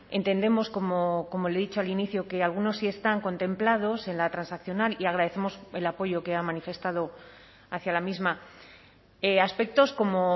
entendemos como le he dicho al inicio que algunos sí están contemplados en la transaccional y agradecemos el apoyo que ha manifestado hacia la misma aspectos como